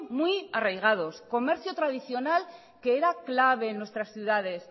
muy arraigados comercio tradicional que era clave en nuestras ciudades